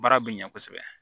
Baara bɛ ɲɛ kosɛbɛ